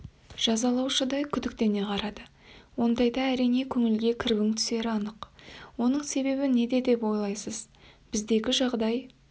жазалаушыдай күдіктене қарады ондайда әрине көңілге кірбің түсері анық оның себебі неде деп ойлайсыз біздегі жағдай